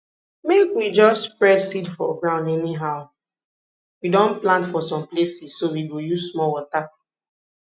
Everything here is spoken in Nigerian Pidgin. make we jus spread seed for ground anyhow we don plant for some places so we go use small water